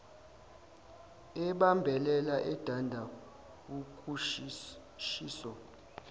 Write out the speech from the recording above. ebambelela edanda ukushiso